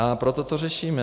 A proto to řešíme.